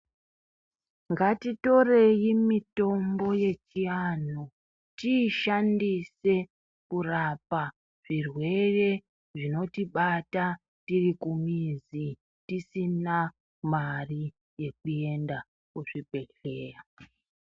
Ngatitorei mitombo yechiantu tiishandise kurapa zvirwere tiri kumizi tisina mari yekuenda kuzvibhedhlera.